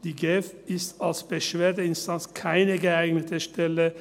Die GEF ist als Beschwerdeinstanz keine geeignete Stelle.